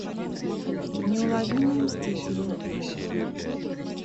неуловимые мстители